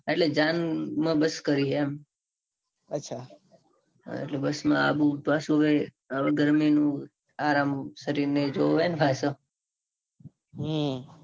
એટલે જાન માં bus કરી છે એમ એટલે bus આવુંને પાછું હવે ગરમી નું આરામ એ જોવે ને શરીર ને પાછું.